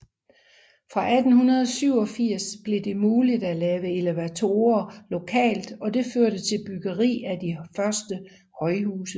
Fra 1887 blev det muligt at lave elevatorer lokalt og det førte til byggeri af de første højhuse